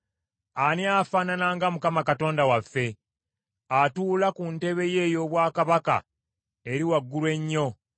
Ani afaanana nga Mukama Katonda waffe, atuula ku ntebe ye ey’obwakabaka eri waggulu ennyo,